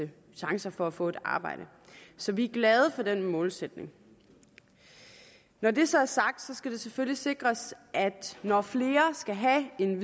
chancer for at få et arbejde så vi er glade for den målsætning når det så er sagt skal det selvfølgelig sikres at når flere skal have en